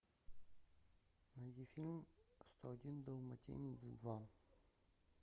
найди фильм сто один далматинец два